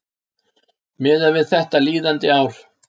miðað við þetta líðandi ár